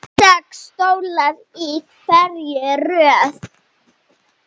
Sex stólar í hverri röð.